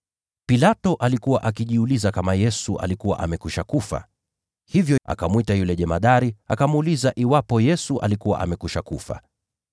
Pilato alikuwa akijiuliza kama Yesu alikuwa amekwisha kufa. Hivyo akamwita yule jemadari, akamuuliza iwapo Yesu alikuwa amekwisha kufa.